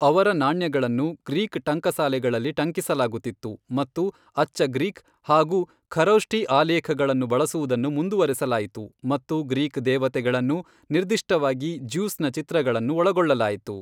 ಅವರ ನಾಣ್ಯಗಳನ್ನು ಗ್ರೀಕ್ ಟಂಕಸಾಲೆಗಳಲ್ಲಿ ಟಂಕಿಸಲಾಗುತ್ತಿತ್ತು ಮತ್ತು ಅಚ್ಚ ಗ್ರೀಕ್ ಹಾಗೂ ಖರೋಷ್ಠಿ ಆಲೇಖಗಳನ್ನು ಬಳಸುವುದನ್ನು ಮುಂದುವರೆಸಲಾಯಿತು ಮತ್ತು ಗ್ರೀಕ್ ದೇವತೆಗಳನ್ನು, ನಿರ್ದಿಷ್ಟವಾಗಿ ಜ಼್ಯೂಸ್ನ ಚಿತ್ರಗಳನ್ನು ಒಳಗೊಳ್ಳಲಾಯಿತು.